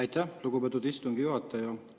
Aitäh, lugupeetud istungi juhataja!